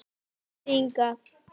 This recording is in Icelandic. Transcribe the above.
KOMDU HINGAÐ!